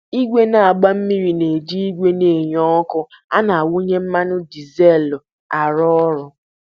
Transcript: Igwe na-agba mmiri na-eji igwe na-enye ọkụ a na-awụnye mmanụ ọkụ dizelụ arụ ọrụ